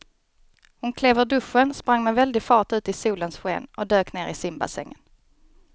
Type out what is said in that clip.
Hon klev ur duschen, sprang med väldig fart ut i solens sken och dök ner i simbassängen.